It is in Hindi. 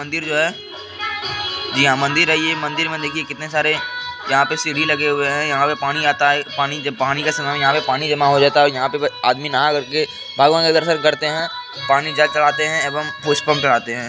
मंदिर जो है जी हाँ मंदिर है ये मंदिर में देखिए कितने सारे यहाँ पे सीढ़ी लगे हुए हैं यहाँ पे पानी आता है पानी जब पानी का समय यहाँ पे पानी जमा हो जाता है और यहाँ पे आदमी नहा कर के भगवन के दर्शन करते हैं पानी जल चड़ाते हैं एवं पुष्पम चढ़ाते हैं।